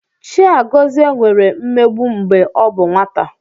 Chiagozie nwere mmegbu mgbe ọ bụ nwata.